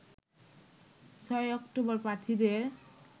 ৬ October প্রার্থীদের